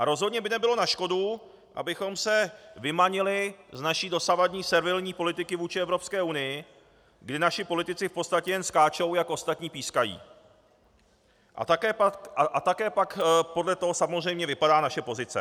A rozhodně by nebylo na škodu, abychom se vymanili z naší dosavadní servilní politiky vůči Evropské unii, kdy naši politici v podstatě jen skáčou, jak ostatní pískají, a také pak podle toho samozřejmě vypadá naše pozice.